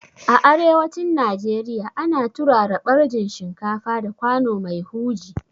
A arewacin Najeriya ana turara ɓarjin shinkafa da kwano mai huji